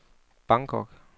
Bangkok